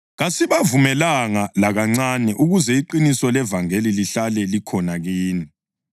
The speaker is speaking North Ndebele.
Kasibavumelanga lakancane ukuze iqiniso levangeli lihlale likhona kini.